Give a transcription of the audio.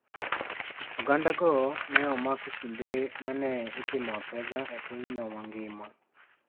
Ogandago ne omak e kinde ma ne itimo apedha e pinyno mangima.